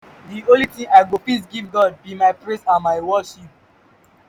the only thing i go fit give god be my praise and my worship